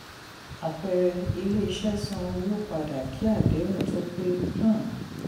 àpẹẹrẹ: ilé-iṣẹ san owó padà kí àdéhùn tó pé. um